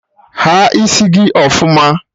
Haa isi gị ọfụma!